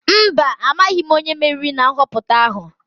Mba, amaghị m onye meriri na nhọpụta ahụ.